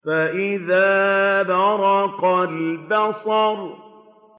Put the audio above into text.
فَإِذَا بَرِقَ الْبَصَرُ